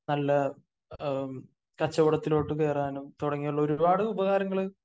നല്ല കച്ചവടത്തിലോട്ട് കേറാനും തുടങ്ങിയുള്ള ഒരുപാട് ഉപകാരങ്ങള്